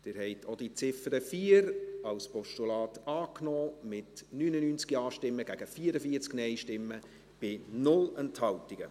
Sie haben auch die Ziffer 4 als Postulat angenommen, mit 99 Ja- gegen 44 Nein-Stimmen bei 0 Enthaltungen.